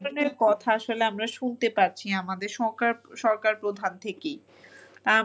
এই ধরণের কথা আসলে আমরা শুনতে পাচ্ছি আমাদের সংকার সরকার প্রধান থেকেই। আহ মানে